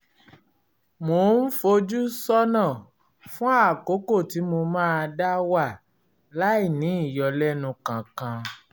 mò ń fojú sọ́nà fún àkókò tí mo máa dá wà láìní ìyọlẹ́nu kankan